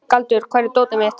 Galdur, hvar er dótið mitt?